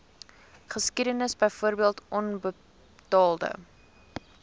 geskiedenis byvoorbeeld onbetaalde